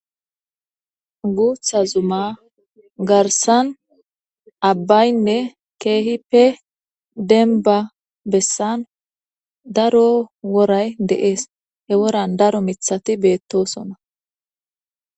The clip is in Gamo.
Guuththa zumma garssan abbaynne keehippe denba bessan daro woray de'ees hee woran daro miiththati beettosona